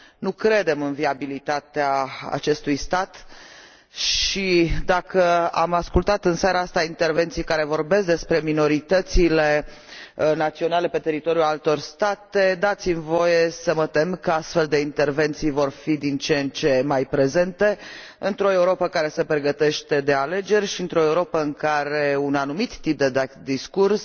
Nu credem în viabilitatea acestui stat și, dacă am ascultat în seara asta intervenții care vorbesc despre minoritățile naționale pe teritoriul altor state, dați mi voie să mă tem că astfel de intervenții vor fi din ce în ce mai prezente într o Europă care se pregătește de alegeri și într o Europă în care un anumit tip de discurs